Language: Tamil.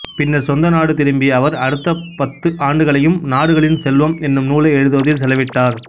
பின்னர் சொந்த நாடு திரும்பிய அவர் அடுத்த பத்து ஆண்டுகளையும் நாடுகளின் செல்வம் என்னும் நூலை எழுதுவதில் செலவிட்டார்